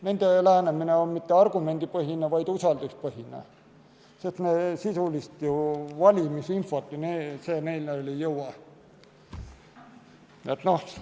Nende lähenemine on mitte argumendipõhine, vaid usalduspõhine, sest sisulist valimisinfot nendeni ei jõua.